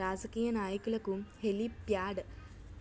రాజకీయ నాయకులకు హెలీప్యాడ్